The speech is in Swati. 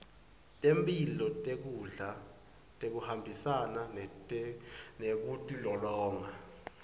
temphilo nekudla kuhambisana nekutilolonga